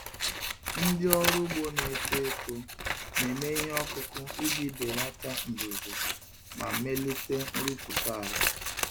Ndị ọrụ ugbo na-eto eto na-eme ihe ọkụkụ iji belata mbuze ma melite nrụpụta ala.